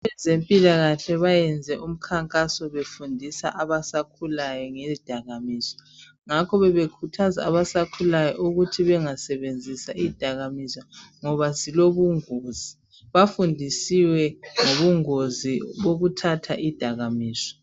Abezempilakahle bayenze umkhankaso befundisa abasakhulayo ngezidakamizwa ngakho bebakhuthaza abasakhulayo ukuthi bengasebenzisa izidakamizwa ngoba zilobungozi bafundisiwe ngobungozi bokuthatha izidakamizwa.